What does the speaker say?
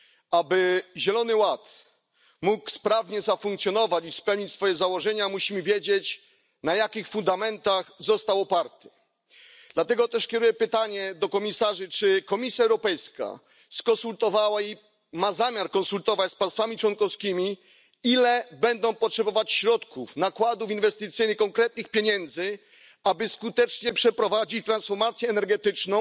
Aby Zielony Ład mógł sprawnie funkcjonować i spełnić swoje założenia, musimy wiedzieć, na jakich fundamentach został oparty. Dlatego też kieruję pytanie do komisarzy, czy Komisja Europejska konsultowała lub ma zamiar konsultować się z państwami członkowskimi w sprawie środków, nakładów inwestycyjnych, konkretnych pieniędzy, jakich będą potrzebować, aby skutecznie przeprowadzić transformację energetyczną,